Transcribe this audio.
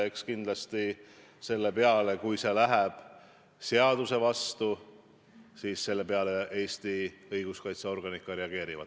Eks kindlasti selle peale, kui minnakse seadusega vastuollu, Eesti õiguskaitseorganid ka reageerivad.